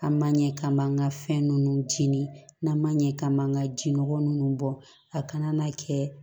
An ma ɲɛ k'an b'an ka fɛn ninnu jeni n'an maɲɛ k'an m'an ka jinɔgɔ nunnu bɔ a kana na kɛ